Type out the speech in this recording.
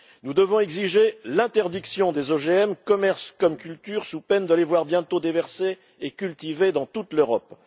Nous devons exiger l'interdiction des OGM commerce comme culture sous peine de les voir bientôt déversés et cultivés dans toute l'Europe.